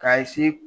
K'a